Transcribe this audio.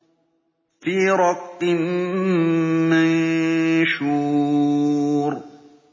فِي رَقٍّ مَّنشُورٍ